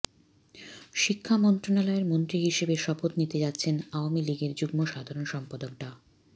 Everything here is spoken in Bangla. শিক্ষা মন্ত্রণালয়ের মন্ত্রী হিসেবে শপথ নিতে যাচ্ছেন আওয়ামী লীগের যুগ্ম সাধারণ সম্পাদক ডা